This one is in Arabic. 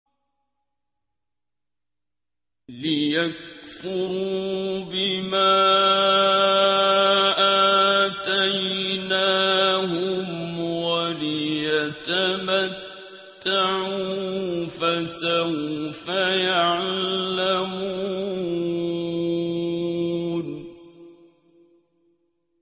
لِيَكْفُرُوا بِمَا آتَيْنَاهُمْ وَلِيَتَمَتَّعُوا ۖ فَسَوْفَ يَعْلَمُونَ